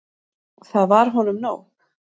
Það var honum nóg.